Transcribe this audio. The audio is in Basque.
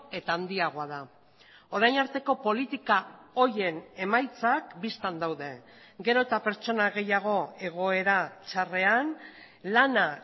eta handiagoa da orain arteko politika horien emaitzak bistan daude gero eta pertsona gehiago egoera txarrean lana